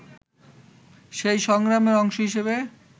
সেই সংগ্রামের অংশ হিসেবে